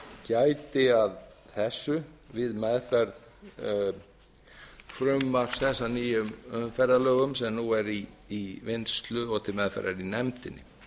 gæti að þessu við meðferð frumvarps að nýjum umferðarlögum sem nú er til vinnslu og meðferðar í nefndinni